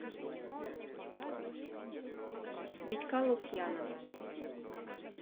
витька лукьянова